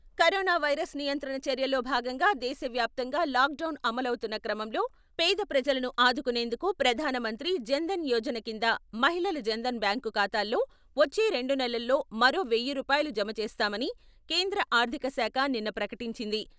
Corona virus నియంత్రణ చర్యల్లో భాగంగా దేశ వ్యాప్తంగా లాక్ డౌన్ అమలవుతున్న క్రమంలో పేద ప్రజలను ఆదుకునేందుకు ప్రధానమంత్రి జన్ ధన్ యోజన కింద మహిళల జన్ ధన్ బ్యాంకు ఖాతాల్లో వచ్చే రెండు నెలల్లో మరో వెయ్యి రూపాయలు జమ చేస్తామని కేంద్ర ఆర్థిక శాఖ నిన్న ప్రకటించింది.